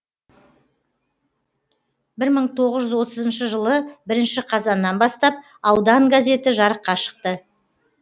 бір мың тоғыз жүз отызыншы жылы бірінші қазаннан бастап аудан газеті жарыққа шықты